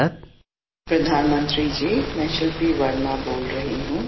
पंतप्रधानजी मी बंगलूरुहून शिल्पी वर्मा बोलत आहे